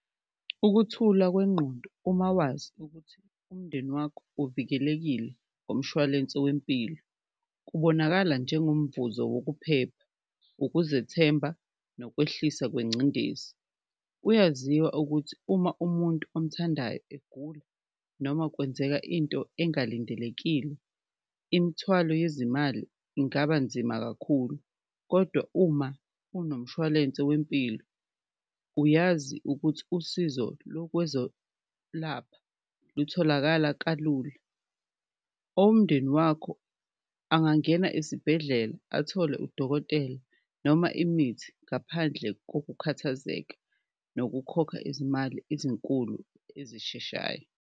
Ukuthula kwengqondo uma wazi ukuthi umndeni wakho uvikelekile ngomshwalense wempilo, kubonakala njengomvuzo wokuphepha, ukuzethemba, nokwehlisa kwencindezi. Kuyaziwa ukuthi uma umuntu omthandayo egula noma kwenzeka into engalindelekile imthwalo yezimali ingaba nzima kakhulu, kodwa uma unomshwalense wempilo uyazi ukuthi usizo lokwezolapha lutholakala kalula. Owomndeni wakho angangena isibhedlela athole udokotela noma imithi ngaphandle kokukhathazeka, nokukhokha izimali ezinkulu ezisheshayo.